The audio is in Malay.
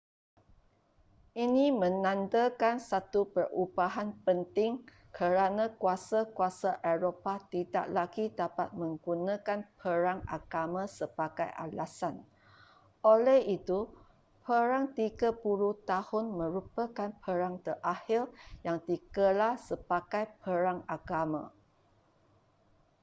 ini menandakan satu perubahan penting kerana kuasa-kuasa eropah tidak lagi dapat menggunakan perang agama sebagai alasan oleh itu perang tiga puluh tahun merupakan perang terakhir yang digelar sebagai perang agama